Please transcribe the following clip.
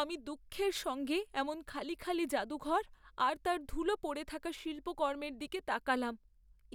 আমি দুঃখের সঙ্গে এমন খালি খালি জাদুঘর আর তার ধুলো পড়ে থাকা শিল্পকর্মের দিকে তাকালাম।